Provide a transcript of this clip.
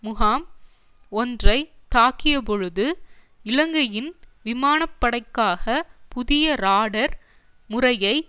முகாம் ஒன்றை தாக்கியபொழுது இலங்கையின் விமான படைக்காக புதிய ராடர் முறையை